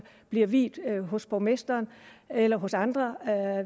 bliver viet hos borgmesteren eller hos andre